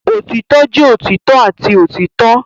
Otitọ jẹ otitọ ati otitọ.